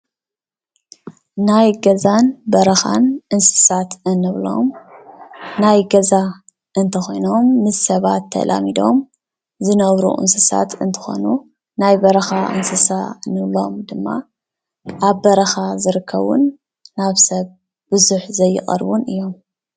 ናይ ገዛን በረኻን እንስሳት እንብሎም ናይ ገዛ እንተኾይኖም ምስ ሰባት ተላሚዶም ዝነብሩ እንስሳታት እንተኾይኑ ናይ በረኻ እንስሳ ንብሎም ድማ ኣብ በረኻ ዝርከቡን ናብ ሰብ ብዙሕ ዘይቐርቡን እዮም።